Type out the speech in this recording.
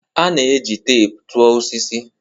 A na-eji teepu tụọ osisi.